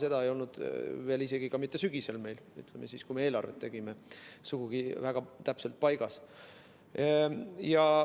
See ei olnud meil veel isegi mitte sügisel, kui me eelarvet tegime, sugugi väga täpselt paigas.